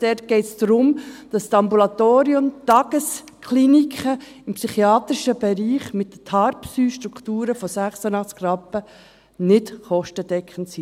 Es geht darum, dass die Ambulatorien und Tageskliniken im psychiatrischen Bereich mit Tarpsy-Strukturen von 86 Rappen nicht kostendeckend sind.